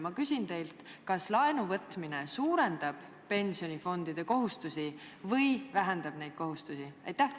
Ma küsin teilt: kas laenu võtmine suurendab pensionifondide kohustusi või vähendab neid?